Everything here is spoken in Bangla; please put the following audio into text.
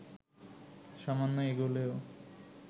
সামান্য এগুলেও